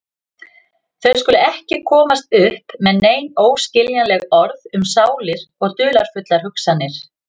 Þau skulu ekki komast upp með nein óskiljanleg orð um sálir og dularfullar hugsanir.